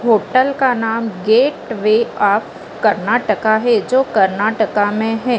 Hotel का नाम gateway of Karnataka है जो कर्नाटका में हैं।